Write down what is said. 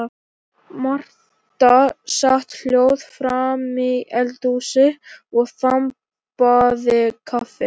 Marta sat hljóð framí eldhúsi og þambaði kaffi.